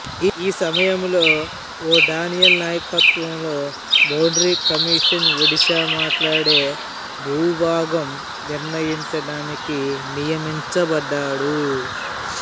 ఈ సమయంలో ఓ డానియేల్ నాయకత్వంలో బౌండరీ కమీషన్ ఒడిషా మాట్లాడే భూభాగం నిర్ణయించడానికి నియమించబడ్డాడు